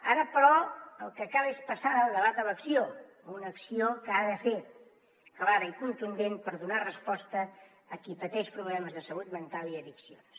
ara però el que cal és passar del debat a l’acció una acció que ha de ser clara i contundent per donar resposta a qui pateix problemes de salut mental i addiccions